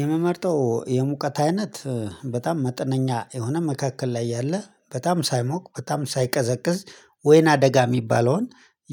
የምመርጠው የሙቀት አይነት በጣም መጠነኛ የሆነ መካከል ላይ ያለ በጣም ሳይሞቅ በጣም ሳይቀዘቅዝ ወይንአደጋ የሚባለውን